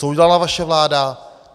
Co udělala vaše vláda?